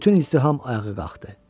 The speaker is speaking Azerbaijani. Bütün izdiham ayağa qalxdı.